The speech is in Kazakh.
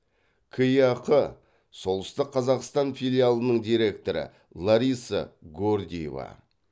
кеақ солтүстік қазақстан филиалының директоры лариса гордеева